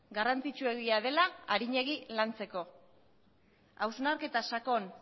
garrantzitsuegia dela arinegi lantzeko hausnarketa sakon